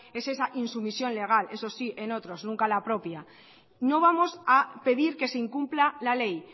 es esa insumisión legal eso sí en otros nunca en la propia no vamos a pedir que se incumpla la ley